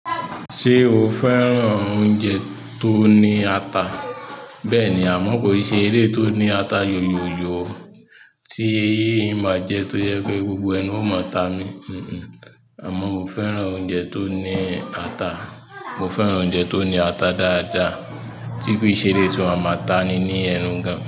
Ṣé o fẹ́ràn oúnjẹ tó ní ata? Bẹ́ẹ̀ni, àmọ́ kò sí eléyi tó ní ata yóyòóyò tí máa jẹ tó yẹ pé gbogbo ẹnu o máa ta mi. Àmọ́ mo fẹ́ràn oúnjẹ tó ní ata, mo fẹ́ràn oúnjẹ tó ní ata dáadáa, tí ki n se eléyi tí a máa ta ni ní ẹnu gan.